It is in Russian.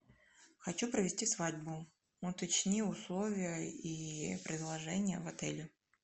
хочу провести свадьбу уточни условия и предложения в отеле